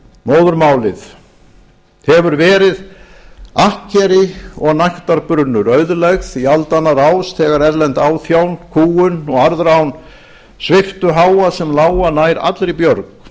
móðurmálið hefur verið akkeri og nægtabrunnur auðlegð í aldanna rás þegar erlend áþján kúgun og arðrán sviptu háa sem lága nær allri björg